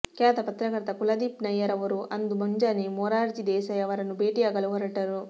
ಖ್ಯಾತ ಪತ್ರಕರ್ತ ಕುಲದೀಪ್ ನಯ್ಯರ್ ಅವರು ಅಂದು ಮುಂಜಾನೆ ಮೊರಾರ್ಜಿ ದೇಸಾಯಿ ಅವರನ್ನು ಭೇಟಿಯಾಗಲು ಹೊರಟರು